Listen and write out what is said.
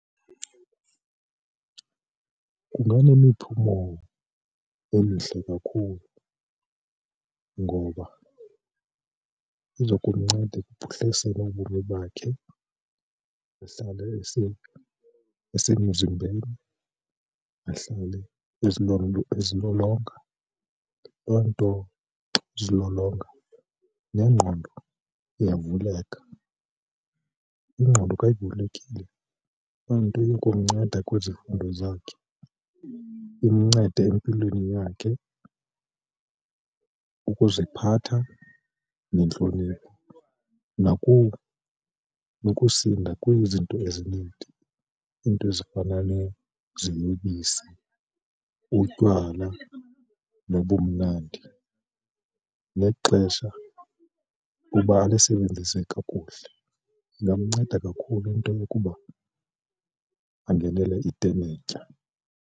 Kunganemiphumo emihle kakhulu ngoba iza kumnceda ekuphuhliseni ubomi bakhe ahlale esemzimbeni, ahlale ezilolonga loo nto yozilolonga nengqondo iyavuleka. Ingqondo kayivulekile loo nto iyakumnceda kwizifundo zakhe, imncede empilweni yakhe ukuziphatha nentlonipho. Nokusinda kwizinto ezinintsi, iinto ezifana neziyobisi, utywala nobumnandi nexesha kuba alisebenzise kakuhle. Ingamnceda kakhulu into yokuba angenele itenetya.